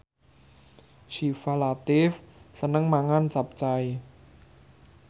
Syifa Latief seneng mangan capcay